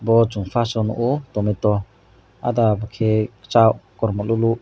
bo chung first o nukgo tomato ada khe kwchak kormo lwlwk.